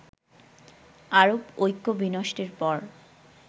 আরব ঐক্য বিনষ্টের পর